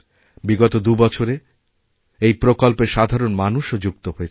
বিগত দুবছরেএই প্রকল্পে সাধারণ মানুষও যুক্ত হয়েছেন